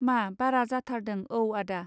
मा बारा जाथारदों औ आदा.